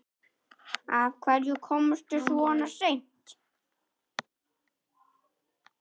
Af hverju komstu svona seint?